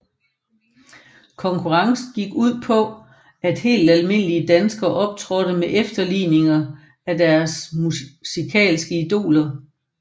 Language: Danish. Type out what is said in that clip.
Konkurrencen gik ud på at helt almindelige danskere optrådte med efterligninger af deres musikalske idoler